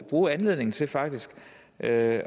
bruge anledningen til faktisk at